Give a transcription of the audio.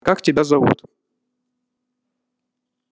как тебя зовут